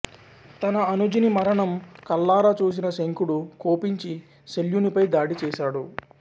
తన అనుజుని మరణం కళ్ళారా చూసిన శంఖుడు కోపించి శల్యునిపై దాడి చేసాడు